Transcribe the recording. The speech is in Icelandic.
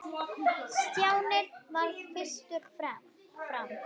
Stjáni varð fyrstur fram.